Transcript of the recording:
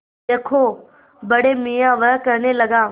देखो बड़े मियाँ वह कहने लगा